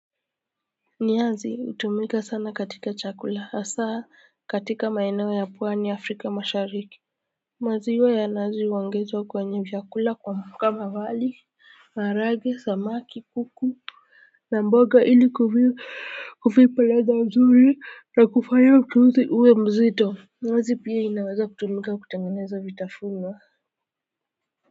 Nyazi hutumika sana katika chakula hasaa katika maeneo ya pwani ya afrika mashariki maziwa ya nazi huongezwa kwenye vyakula kama wali maharage samaki kuku na mboga ili kuvipa ladha mzuri na kufanya mchuuzi uwe mzito nazi pia inaweza kutumika kutengeneza vitafuna.